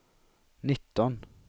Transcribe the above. nitton